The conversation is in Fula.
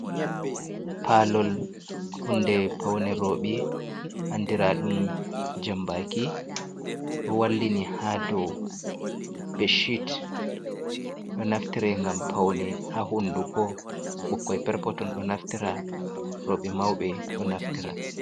Palol hunde paune roɓe, andiraa ɗum jambaki ɗo wallini ha dau beshit. Ɗo naftira ngam paune ha hunduko, bukkoi perpoton ɗo naftira roɓe ,mauɓe ɗo naftira.